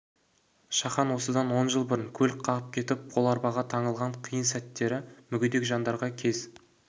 шахан осыдан он жыл бұрын көлік қағып кетіп қол арбаға таңылған қиын сәттері мүгедек жандарға кез